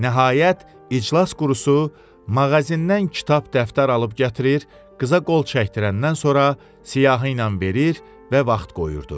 Nəhayət İclas Qurusu mağazindan kitab dəftər alıb gətirir, qıza qol çəkdirəndən sonra siyahı ilə verir və vaxt qoyurdu.